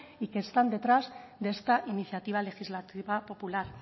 y que están detrás de esta iniciativa legislativa popular